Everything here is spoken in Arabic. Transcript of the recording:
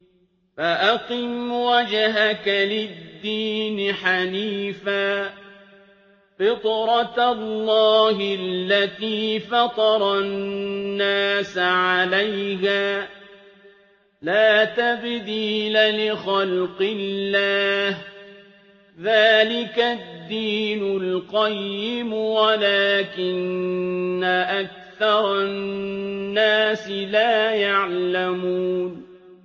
فَأَقِمْ وَجْهَكَ لِلدِّينِ حَنِيفًا ۚ فِطْرَتَ اللَّهِ الَّتِي فَطَرَ النَّاسَ عَلَيْهَا ۚ لَا تَبْدِيلَ لِخَلْقِ اللَّهِ ۚ ذَٰلِكَ الدِّينُ الْقَيِّمُ وَلَٰكِنَّ أَكْثَرَ النَّاسِ لَا يَعْلَمُونَ